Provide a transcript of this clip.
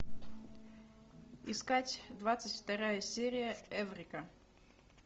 искать двадцать вторая серия эврика